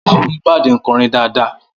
Mohbad ń kọrin dáadáa